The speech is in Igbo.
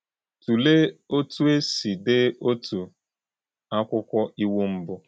Tụlee otú e si dee otu akwụkwọ Iwu mbụ.